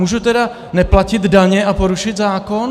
Můžu teda neplatit daně a porušit zákon?